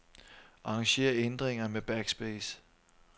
Arranger ændringer med backspace.